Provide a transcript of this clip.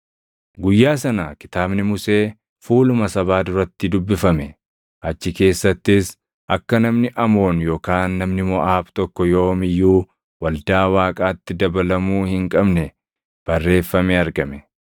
Guyyaa sana Kitaabni Musee fuuluma sabaa duratti dubbifame; achi keessattis akka namni Amoon yookaan namni Moʼaab tokko yoom iyyuu waldaa Waaqaatti dabalamuu hin qabne barreeffamee argame;